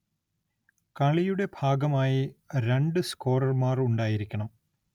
കളിയുടെ ഭാഗമായി രണ്ടു സ്കോറർമാർ ഉണ്ടായിരിക്കണം.